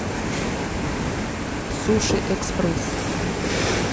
суши экспресс